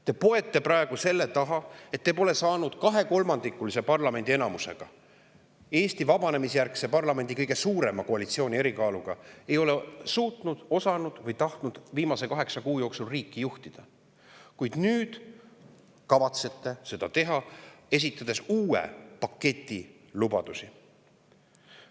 Te poete praegu selle taha, et te pole saanud kahekolmandikulise parlamendi enamusega, Eesti vabanemisjärgse parlamendi kõige suurema koalitsiooni erikaaluga ei ole suutnud, osanud või tahtnud viimase kaheksa kuu jooksul riiki juhtida, kuid nüüd kavatsete seda teha, esitades uue paketi lubadusi.